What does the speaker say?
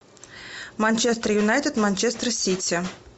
манчестер юнайтед манчестер сити